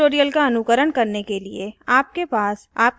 इस tutorial का अनुकरण करने के लिए आपके पास